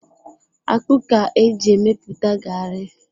Akpụ ka eji emepụta garri.